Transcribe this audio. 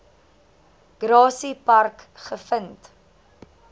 grassy park gevind